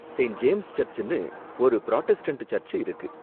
Saint James சர்ச்சுன்னு ஒரு Protestant church இருக்கு.